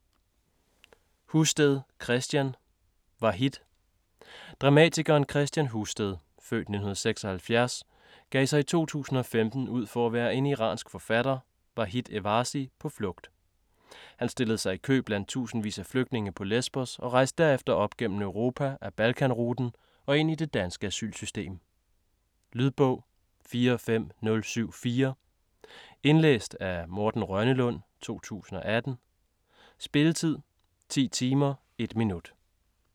Husted, Kristian: Vahid Dramatikeren Kristian Husted (f. 1976) gav sig i 2015 ud for at være en iransk forfatter, Vahid Evazi, på flugt. Han stillede sig i kø blandt tusindvis af flygtninge på Lesbos og rejste derefter op gennem Europa ad Balkan-ruten og ind i det danske asylsystem. Lydbog 45074 Indlæst af Morten Rønnelund, 2018. Spilletid: 10 timer, 1 minut.